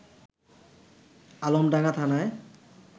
আলমডাঙ্গা থানায়